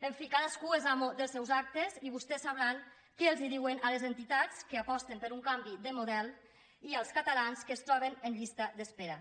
en fi cadascú és amo dels seus actes i vostès sabran què els diuen a les entitats que aposten per un canvi de model i als catalans que es troben en llista d’espera